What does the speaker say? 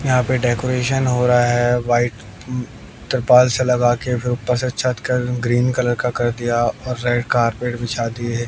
यहां पे डेकोरेशन हो रहा है व्हाइट अह त्रिपाल से लगा के फिर ऊपर से छत का ग्रीन कलर का कर दिया और रेड कारपेट बिछा दिए है।